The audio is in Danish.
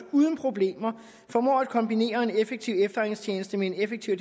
uden problemer formår at kombinere en effektiv efterretningstjeneste med en effektiv